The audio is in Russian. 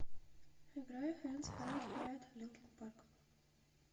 играй хэндс хэлд хай линкин парк